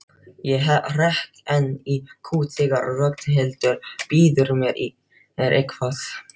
Ég hrekk enn í kút þegar Ragnhildur býður mér eitthvað.